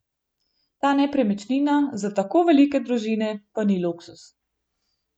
Ta nepremičnina za tako velike družine pa ni luksuz.